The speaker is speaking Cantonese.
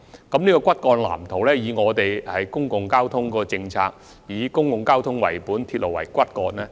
按照現行公共交通政策，這個骨幹藍圖須以公共交通為本，鐵路為骨幹。